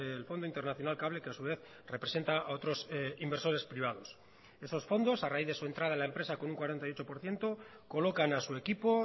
el fondo internacional cable que a su vez representa a otros inversores privados esos fondos a raíz de su entrada en la empresa con un cuarenta y ocho por ciento colocan a su equipo